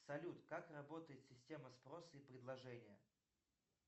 салют как работает система спроса и предложения